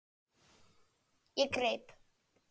Ég greip